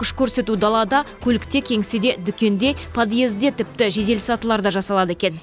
күш көрсету далада көлікте кеңседе дүкенде подъезде тіпті жедел сатыларда жасалады екен